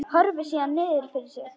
Horfir síðan niður fyrir sig.